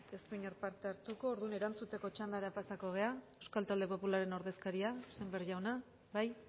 ez du inor parte hartuko orduan erantzuteko txandara pasako gera euskal talde popularraren ordezkaria sémper jauna bai